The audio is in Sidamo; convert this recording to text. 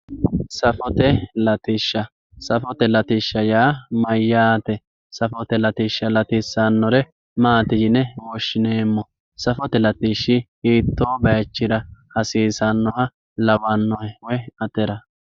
safote latishsha safote latishsha yaa mayyaate safote latishsha latissannore maati yine woshshinanni safote latishshi hiittoo baychira hasiisannoha lawannohe woy atera.